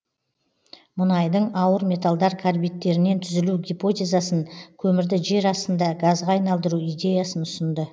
мұнайдың ауыр металдар карбидтерінен түзілу гипотезасын көмірді жер астында газға айналдыру идеясын ұсынды